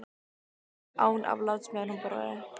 Hún talaði án afláts meðan hún borðaði.